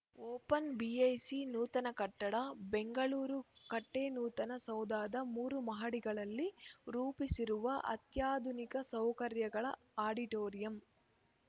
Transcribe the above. ಒಪನ್‌ಬಿಐಸಿ ನೂತನ ಕಟ್ಟಡ ಬೆಂಗಳೂರು ಕಟ್ಟೆನೂತನ ಸೌಧದ ಮೂರು ಮಹಡಿಗಳಲ್ಲಿ ರೂಪಿಸಿರುವ ಅತ್ಯಾಧುನಿಕ ಸೌಕರ್ಯಗಳ ಆಡಿಟೋರಿಯಂ